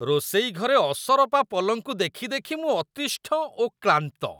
ରୋଷେଇ ଘରେ ଅସରପା ପଲଙ୍କୁ ଦେଖି ଦେଖି ମୁଁ ଅତିଷ୍ଠ ଓ କ୍ଳାନ୍ତ।